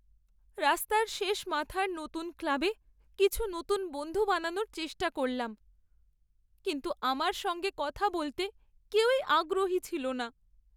রাস্তার শেষ মাথার নতুন ক্লাবে কিছু নতুন বন্ধু বানানোর চেষ্টা করলাম কিন্তু আমার সঙ্গে কথা বলতে কেউই আগ্রহী ছিল না।